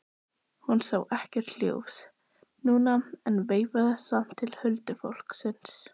Hún sá ekkert ljós núna en veifaði samt til huldufólksins.